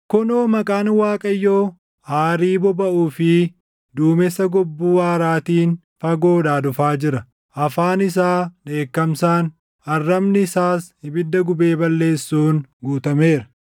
Kunoo Maqaan Waaqayyoo aarii bobaʼuu fi duumessa gobbuu aaraatiin fagoodhaa dhufaa jira; afaan isaa dheekkamsaan, arrabni isaas ibidda gubee balleessuun guutameera.